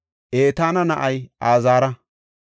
Etaana na7ay Azaara.